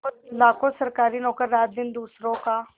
लाखों सरकारी नौकर रातदिन दूसरों का